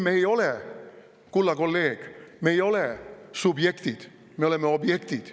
Ei, kulla kolleeg, me ei ole subjektid, me oleme objektid.